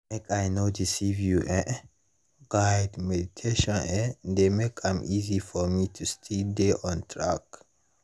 make i no deceive you[um]guided meditation eh dey make am easy for me to still dey on track